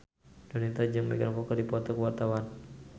Donita jeung Megan Fox keur dipoto ku wartawan